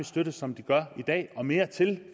støtte som de gør i dag og mere til